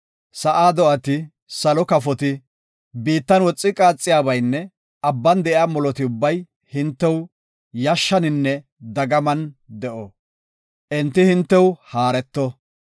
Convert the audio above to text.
Sa7aa do7ati, salo kafoti, biittan woxi qaaxiyabaynne abban de7iya moloti ubbay hintew yashshaninne dagaman de7o. Enti hintew haareto.